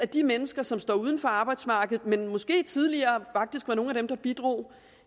de mennesker som står uden for arbejdsmarkedet men måske tidligere faktisk var nogle af dem der bidrog